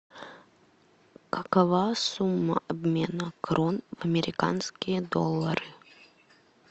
какова сумма обмена крон в американские доллары